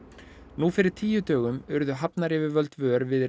nú fyrir tíu dögum urðu hafnaryfirvöld vör við